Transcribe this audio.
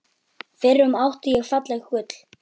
FYRRUM ÁTTI ÉG FALLEG GULL